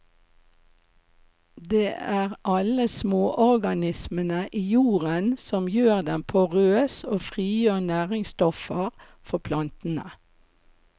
Det er alle småorganismene i jorden som gjør den porøs og frigjør næringsstoffer for plantene.